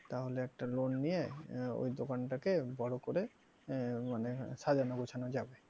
তাহলে একটা loan নিয়ে আহ ওই দোকানটাকে বড় করে আহ মানে সাজানো গোছানো যাবে।